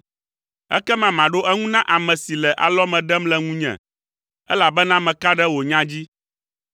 ekema maɖo eŋu na ame si le alɔme ɖem le ŋunye, elabena meka ɖe wò nya dzi.